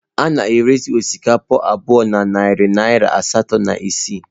A na-erezi iko osikapa abụọ na narị naira asatọ na isii